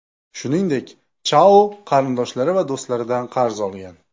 Shuningdek, Chao qarindoshlari va do‘stlaridan qarz olgan.